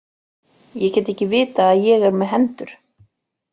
Ég get ekki vitað að ég er með hendur.